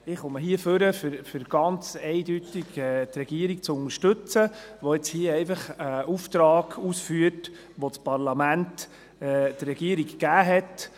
Ich komme hier nach vorne, um ganz eindeutig die Regierung zu unterstützen, die hier einfach einen Auftrag ausführt, den das Parlament der Regierung gab.